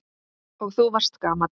Og þú varst svo gamall.